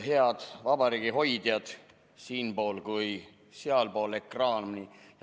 Head vabariigi hoidjad nii siinpool kui ka sealpool ekraani!